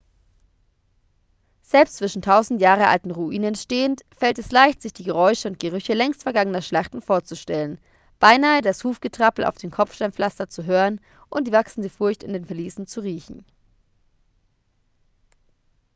selbst zwischen tausend jahre alten ruinen stehend fällt es leicht sich die geräusche und gerüche längst vergangener schlachten vorzustellen beinahe das hufgetrappel auf dem kopfsteinpflaster zu hören und die wachsende furcht in den verliesen zu riechen